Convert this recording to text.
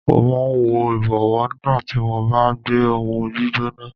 Mo máa ń wọ ìbọ̀wọ́ nígbà tí mo bá gbé ohùn gbígbóná.